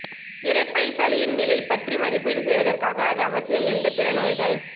இரைப்பை சளியின் நிலை பற்றி மதிப்பீடு செய்வதற்காக அது அவசியம் எந்த பிற நோய்கள்